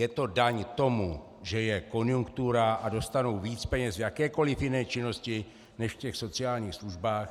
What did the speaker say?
Je to daň tomu, že je konjunktura a dostanou víc peněz v jakékoli jiné činnosti než v těch sociálních službách.